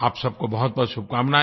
आप सब को बहुतबहुत शुभकामनाएँ